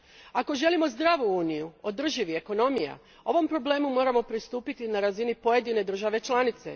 Ako želimo zdravu Uniju održivih ekonomija, ovom problemu moramo pristupiti na razini pojedine države članice.